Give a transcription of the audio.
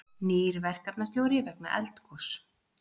Nýr verkefnastjóri vegna eldgoss